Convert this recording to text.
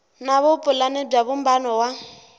na vupulani bya vumbano wa